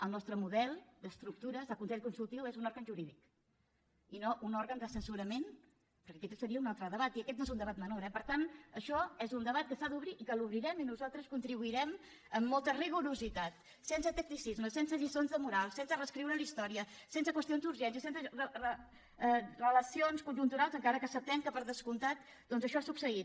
el nostre model d’estructures del consell consult iu és un òrgan jurídic i no un òrgan d’assessorament perquè aquest seria un altre debat i aquest no és un debat menor eh per tant això és un debat que s’ha d’obrir i que l’obrirem i al qual nosaltres contribuirem amb molt rigor sense tacticismes sense lliçons de moral sense reescriure la història sense qüestions d’urgència sense relacions conjunturals encara que acceptem que per descomptat doncs això ha succeït